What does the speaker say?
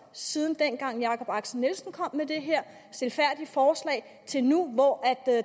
siden dengang jakob axel nielsen kom med det her stilfærdige forslag til nu hvor